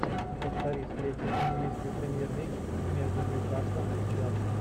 повтори встречу английской премьер лиги между ньюкаслом и челси